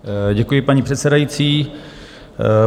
Děkuji, paní předsedající.